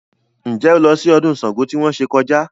Ǹjẹ́ o lọ sí ọdún Ṣàngó tí wọ́n ṣe kọjá?